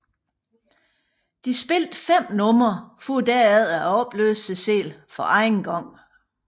De spillede fem numre for derefter at opløse sig selv for anden gang